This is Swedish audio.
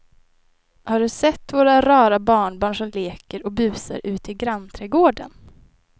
Har du sett våra rara barnbarn som leker och busar ute i grannträdgården!